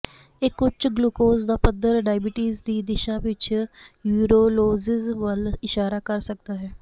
ਇੱਕ ਉੱਚ ਗੁਲੂਕੋਜ਼ ਦਾ ਪੱਧਰ ਡਾਇਬਟੀਜ਼ ਦੀ ਦਿਸ਼ਾ ਵਿੱਚ ਯੂਰੋਲੋਜੀਜ ਵੱਲ ਇਸ਼ਾਰਾ ਕਰ ਸਕਦਾ ਹੈ